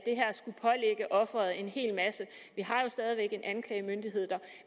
offeret en hel masse vi har jo stadig væk en anklagemyndighed der